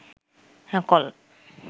call